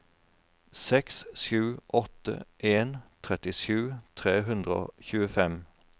seks sju åtte en trettisju tre hundre og tjuefem